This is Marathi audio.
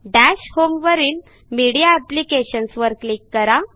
दश होम वरील मीडिया एप्लिकेशन्स वर क्लिक करा